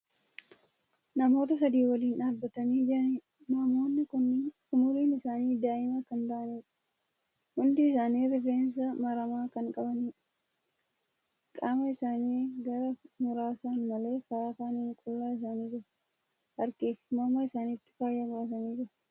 Namoota sadi waliin dhaabatanii jiraniidha. namoonni kunniin umriin isaanii daa'ima Kan ta'aniidha. hundi isaanii rifeensa maramaa Kan qabaniidha. qaama isaanii gara muraasaan malee Kara kaaniin qullaa isaanii jiru. harkafi morma isaanitti faaya godhatanii jiru.